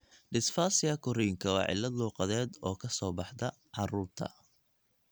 Dysphasia korriinka waa cillad luqadeed oo ka soo baxda carruurta.